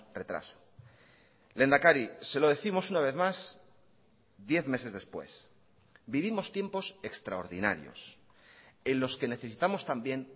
retraso lehendakari se lo décimos una vez más diez meses después vivimos tiempos extraordinarios en los que necesitamos también